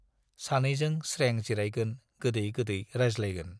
सानैजों स्रें जिरायगोन, गोदै गोदै रायज्लायगोन!